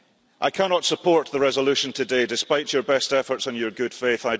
I cannot support the resolution today despite your best efforts and your good faith.